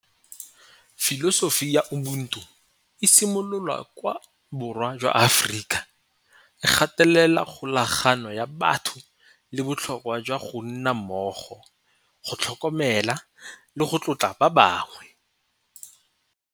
Filosofi ya Ubuntu e simololwa kwa borwa jwa Aforika e gatelela kgolagano ya batho le botlhokwa jwa go nna mmogo, go tlhokomela le go tlotla ba bangwe.